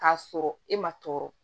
K'a sɔrɔ e ma tɔɔrɔ